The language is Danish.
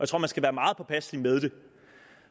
tror man skal være meget påpasselig med det